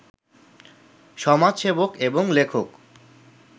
সমাজসেবক এবং লেখক